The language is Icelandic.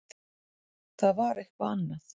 Það var eitthvað annað.